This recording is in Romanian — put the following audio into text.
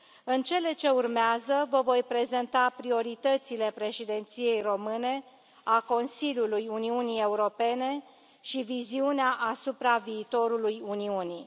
În cele ce urmează, vă voi prezenta prioritățile Președinției române a Consiliului Uniunii Europene și viziunea asupra viitorului Uniunii.